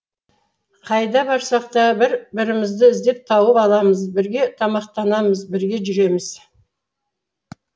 қайда барсақ та бір бірімізді іздеп тауып аламыз бірге тамақтанамыз бірге жүреміз